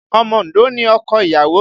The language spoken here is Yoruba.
Omo Ondo ni ọkọ ìyàwó